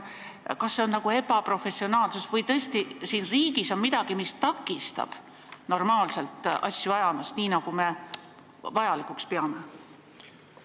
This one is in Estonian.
Kas see on ebaprofessionaalsus või tõesti siin riigis on midagi, mis takistab normaalselt asju ajamast, nii nagu me vajalikuks peame?